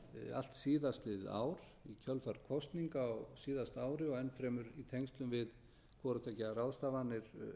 allt síðastliðið ár í kjölfar kosninga á síðasta ári og enn fremur í tengslum við hvorutveggja ráðstafanir